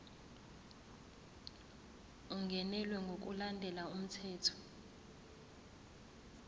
ungenelwe ngokulandela umthetho